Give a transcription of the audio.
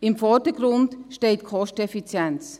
Im Vordergrund steht die Kosteneffizienz.